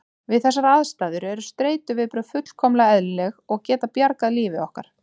Við þessar aðstæður eru streituviðbrögð fullkomlega eðlileg og geta bjargað lífi okkar.